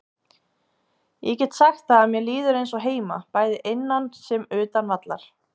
Ég get sagt það að mér líður eins og heima, bæði innan sem utan vallar.